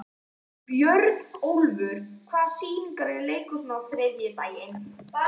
Björnólfur, hvaða sýningar eru í leikhúsinu á þriðjudaginn?